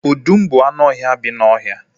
Ọdụm bụ anụ ọhịa bi n'ọhịa